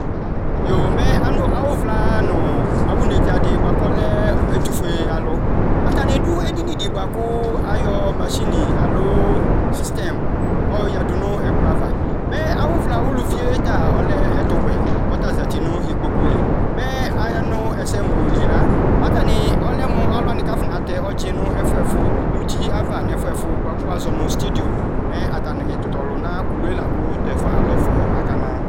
Awʋla nʋ awʋ nedza di buaku alɛ ɛtufue alʋ atani dʋ edini di bʋakʋ ayɔ mashini alo sistɛm kʋ ayɔ yadʋ nʋ ɛkplɔ ava mɛ awʋvla ʋlʋvi yɛ ta lɛ ɛtuwɛ kʋ ata zati nʋ ikpokʋli mɛ anʋ ɛsɛmʋ lila mɛ atani ɔlɛmʋ alʋ wani kʋ afɔnatɛ ɔdzi nʋ ɛfʋ ɛfʋ nʋbuti ava nʋ ɛfʋ ɛfʋ bʋakʋ wazɔnʋ studio mɛ atani ɔtatʋ ɔlʋna kukue lakʋ tʋ ɛfʋ alʋ ɛfua yɛ akana